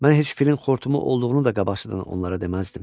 Mənə heç filin xortumu olduğunu da qabaqcadan onlara deməzdim.